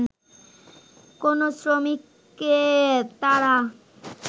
কোন শ্রমিককে তারা